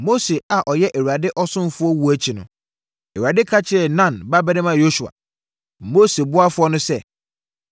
Mose a ɔyɛ Awurade ɔsomfoɔ wuo akyi no, Awurade ka kyerɛɛ Nun babarima Yosua, Mose ɔboafoɔ no sɛ,